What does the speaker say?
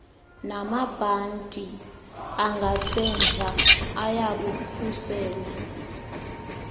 namabhanti angasemva ayabukhusela